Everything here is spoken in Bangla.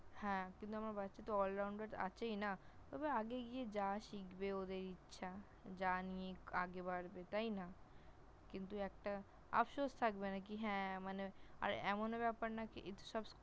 হ্যাঁ! কিন্তু আমার বাচ্চাটা allrounder আছেই না, তবে আগে গিয়ে যা শিখবে ওদের ইচ্ছা । যা নিয়ে আগে বারবে তাই না? কিন্তু একটা আফসোস থাকবে না কি হ্যাঁ মানে, আর এমন ব্যাপার না এতে সব